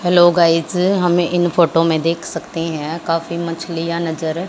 hello guys हमें इन photo में देख सकते हैं काफी मछलियां नजर--